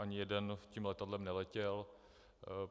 Ani jeden tím letadlem neletěl.